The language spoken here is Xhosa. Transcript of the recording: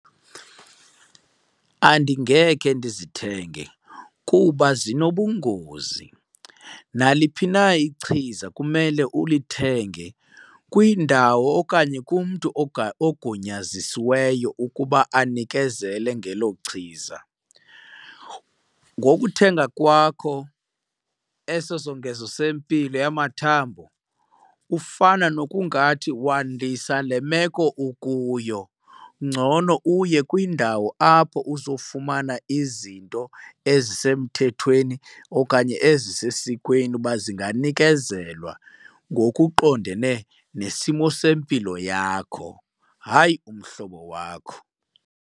Andingekhe ndizithenge kuba zinobungozi. Naliphi na ichiza kumele ulithenge kwindawo okanye kumntu ogunyazisiweyo ukuba anikezele ngelo chiza. Ngokuthenga kwakho eso songezo sempilo yamathambo ufana nokungathi wandisa le meko ukuyo. Ngcono uye kwindawo apho uzofumana izinto ezisemthethweni okanye ezisesikweni uba zinganikezelwa ngokuqondene nesimo sempilo yakho, hayi umhlobo wakho.